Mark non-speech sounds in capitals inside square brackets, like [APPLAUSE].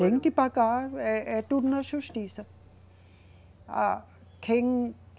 Tem que pagar, é, é tudo na justiça. A [UNINTELLIGIBLE]